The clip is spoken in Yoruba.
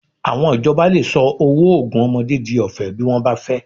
Àwọn ìjọba lè sọ owó oògùn ọmọdé di ọ̀fẹ́ bí wọ́n bá fẹ́